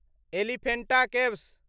Elephanta caves